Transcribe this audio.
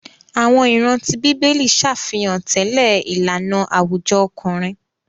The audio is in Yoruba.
Àwọn ìran tí bíbélì ṣàfihàn tẹlẹ ìlànà àwùjọ ọkùnrin.